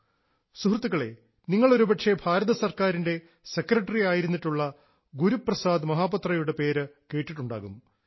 സുഹൃത്തുക്കളേ നിങ്ങൾ ഒരുപക്ഷേ ഭാരതസർക്കാരിൻറെ സെക്രട്ടറി ആയിരുന്നിട്ടുള്ള ഗുരുപ്രസാദ് മഹാപാത്രയുടെ പേര് കേട്ടിട്ടുണ്ടാകും